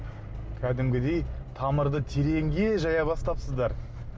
кәдімгідей тамырды тереңге жая бастапсыздар